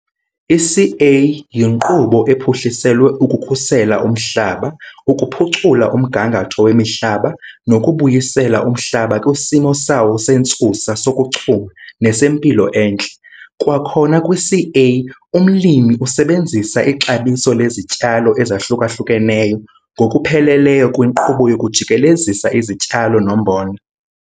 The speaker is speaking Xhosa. I-CA yinkqubo ephuhliselwe ukukhusela umhlaba, ukuphucula umgangatho wemihlaba nokubuyisela umhlaba kwisimo sawo sentsusa sokuchuma nesempilo entle. Kwakhona kwi-CA umlimi usebenzisa ixabiso lezityalo ezahluka-hlukeneyo ngokupheleleyo kwinkqubo yokujikelezisa izityalo nombona.